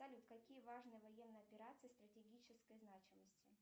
салют какие важные военные операции стратегической значимости